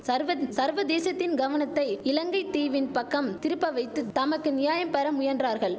சர்வந் சர்வதேசத்தின் கவனத்தை இலங்கை தீவின் பக்கம் திருப்ப வைத்து தமக்கு நியாயம் பெற முயன்றார்கள்